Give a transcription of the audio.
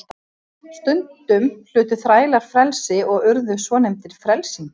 Stundum hlutu þrælar frelsi og urðu svonefndir frelsingjar.